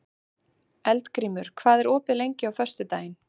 Eldgrímur, hvað er opið lengi á föstudaginn?